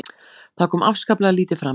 Það kom afskaplega lítið fram